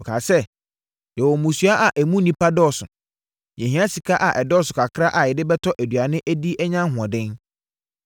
Wɔkaa sɛ, “Yɛwɔ mmusua a emu nnipa dɔɔso. Yɛhia sika a ɛdɔɔso kakra a yɛde bɛtɔ aduane adi anya ahoɔden.”